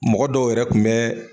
Mɔgɔ dɔw yɛrɛ kun bɛ